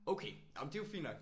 Okay jamen det er jo fint nok